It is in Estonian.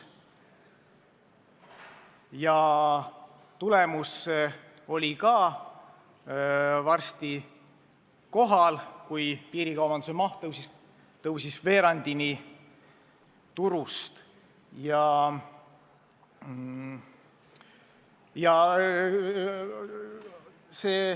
Ja tagajärg oli ka varsti kohal: piirikaubanduse maht kasvas veerandini turust.